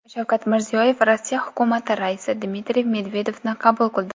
Shavkat Mirziyoyev Rossiya hukumati raisi Dmitriy Medvedevni qabul qildi.